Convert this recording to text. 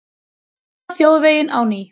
Opna þjóðveginn á ný